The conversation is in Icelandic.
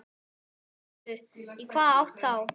Höskuldur: Í hvaða átt þá?